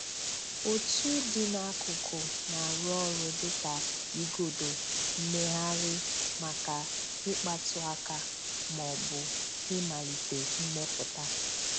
Otu dị n'akụkụ na-arụ ọrụ dị ka igodo mmegharị maka ikpatụ aka ma ọ bụ ịmalite mmepụta.